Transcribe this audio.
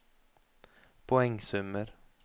poengsummer